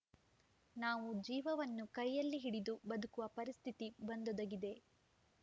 ನಾವು ಜೀವವನ್ನು ಕೈಯ್ಯಲ್ಲಿ ಹಿಡಿದು ಬದುಕುವ ಪರಿಸ್ಥಿತಿ ಬಂದೊದಗಿದೆ